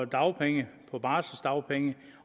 dagpenge på barseldagpenge